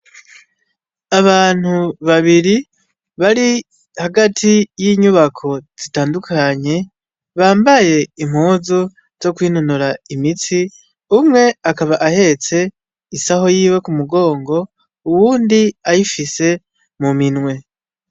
Abantu babiri bari, hagati y'inyubako zitandukanye, bambaye impozu zo kwinonora imitsi umwe akaba ahetse isaho yiwe kumugongo uwundi ayifise mu minwe.